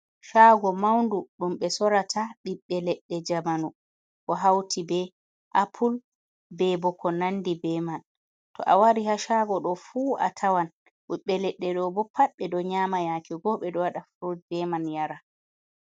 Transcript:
Caago mawndu, ɗum ɓe soorata ɓiɓɓe leɗɗe jamanu, ko hawti be apul, be bo ko nandi be man. To a wari haa caago ɗo fuu, a tawan ɓiɓɓe leɗɗe ɗo bo, pat ɓe ɗo nyaama, yaake goo, ɓe ɗo waɗa furud be man yara.